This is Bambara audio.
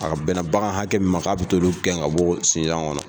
A ka bɛnna bagan hakɛ min ma, k'a bi t'olu gɛn ka bɔ sinza ŋɔnɔ.